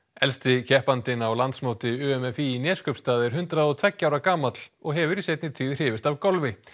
elsti keppandinn á landsmóti u m f í í í Neskaupstað er hundrað og tveggja ára gamall og hefur í seinni tíð hrifist af golfi